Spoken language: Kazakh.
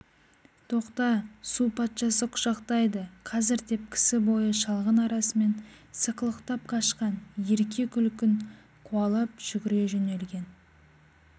тоқта су патшасы құшақтайды қазір деп кісі бойы шалғын арасымен сықылықтап қашқан ерке күлкін қуалап жүгіре жөнелген